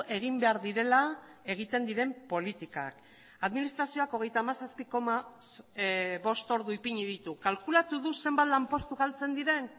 egin behar direla egiten diren politikak administrazioak hogeita hamazazpi koma bost ordu ipini ditu kalkulatu du zenbat lanpostu galtzen diren